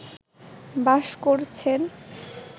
বাস করছেন